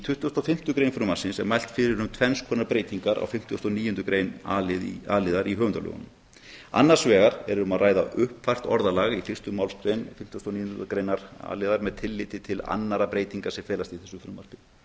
og fimmtu grein frumvarpsins er mælt fyrir um tvenns konar breytingar á fimmtugustu og níundu grein a liðar í höfundalögunum annars vegar er um að ræða uppfært orðalag í fyrstu málsgrein fimmtugustu og níundu greinar a liðar með tilliti til annarra breytinga sem felast í þessu frumvarpi